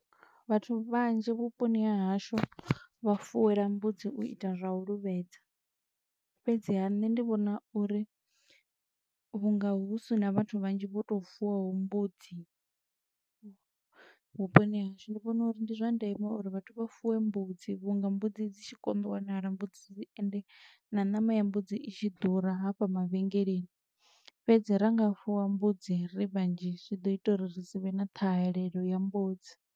Vhathu vhanzhi vhuponi ha hashu vha fuwela mbudzi u ita zwa u luvhedza, fhedziha nṋe ndi vhona uri vhunga hu sina vhathu vhanzhi vho to fuwaho mbudzi vhuponi ha hashu, ndi vhona uri ndi zwa ndeme uri vhathu vha fuwe mbudzi vhunga mbudzi dzi tshi konḓa u wanala, mbudzi ende na ṋama ya mbudzi i tshi ḓura hafha mavhengeleni. Fhedzi ra nga fuwa mbudzi ri vhanzhi zwi ḓo ita uri ri si vhe na ṱhahelelo ya mbudzi.